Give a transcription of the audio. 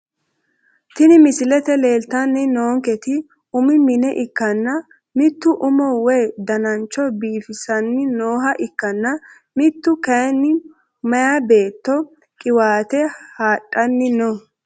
Tini misilete leelitani noonketi umu mine ikanna mitu umo woyi danancho biifisani nooha ikkana mite kayini meya beeto qiwaate hadhani no.